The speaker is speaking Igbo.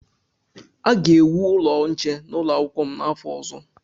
A ga-ewu ụlọ nche n'ụlọ akwụkwọ m n'afọ ọzọ.